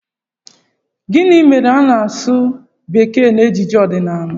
Gịnị mere na a na-asụ bekee n'ejije ọdịnala?